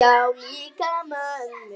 Já, líka mömmu